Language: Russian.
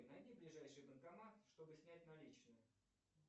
найди ближайший банкомат чтобы снять наличные